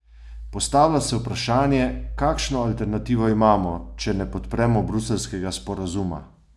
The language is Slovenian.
Postavlja se vprašanje, kakšno alternativo imamo, če ne podpremo bruseljskega sporazuma?